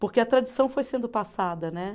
Porque a tradição foi sendo passada, né?